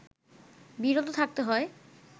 বিরত থাকতে হয়